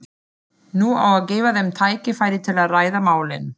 Nú á að gefa þeim tækifæri til að ræða málin.